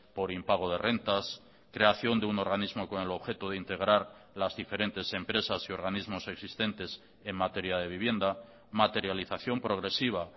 por impago de rentas creación de un organismo con el objeto de integrar las diferentes empresas y organismos existentes en materia de vivienda materialización progresiva